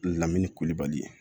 Lamini kolibali